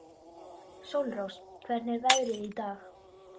Sólrós, hvernig er veðrið í dag?